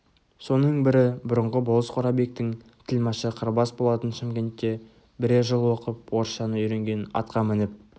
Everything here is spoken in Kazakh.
соның бірі бұрынғы болыс қорабектің тілмашы қырбас болатын шымкентте бірер жыл оқып орысшаны үйренген атқа мініп